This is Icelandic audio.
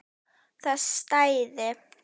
Það stæði.